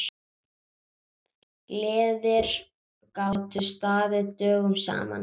Gleðir gátu staðið dögum saman.